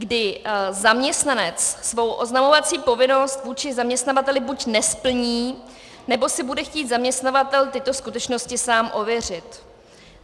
... kdy zaměstnanec svou oznamovací povinnost vůči zaměstnavateli buď nesplní, nebo si bude chtít zaměstnavatel tyto skutečnosti sám ověřit.